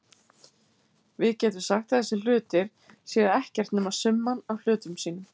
Við getum sagt að þessir hlutir séu ekkert nema summan af hlutum sínum.